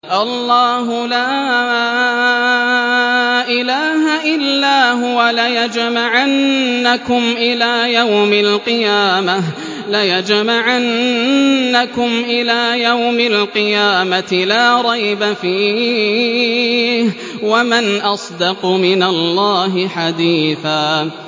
اللَّهُ لَا إِلَٰهَ إِلَّا هُوَ ۚ لَيَجْمَعَنَّكُمْ إِلَىٰ يَوْمِ الْقِيَامَةِ لَا رَيْبَ فِيهِ ۗ وَمَنْ أَصْدَقُ مِنَ اللَّهِ حَدِيثًا